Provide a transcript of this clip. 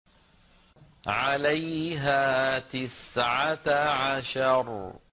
عَلَيْهَا تِسْعَةَ عَشَرَ